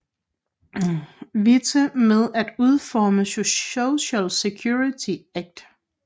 Witte med at udforme Social Security Act